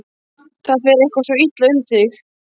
Það fer eitthvað svo illa um þig.